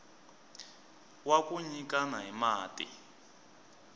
wa ku nyikana hi mati